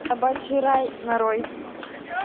собачий рай нарой